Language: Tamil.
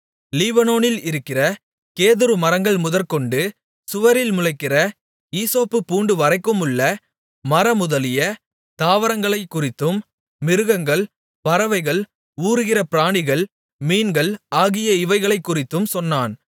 லீபனோனில் இருக்கிற கேதுரு மரங்கள் முதற்கொண்டு சுவரில் முளைக்கிற ஈசோப்புப் பூண்டு வரைக்குமுள்ள மரமுதலிய தாவரங்களைக்குறித்தும் மிருகங்கள் பறவைகள் ஊருகிற பிராணிகள் மீன்கள் ஆகிய இவைகளைக் குறித்தும் சொன்னான்